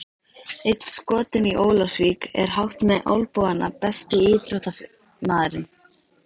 Einn skotinn í Ólafsvík er hátt með olnbogana Besti íþróttafréttamaðurinn?